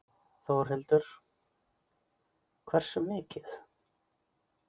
Þórhildur: Hversu mikið?